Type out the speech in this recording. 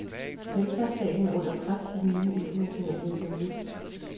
Velfærdsstaten er under pres af den nye internationale økonomi.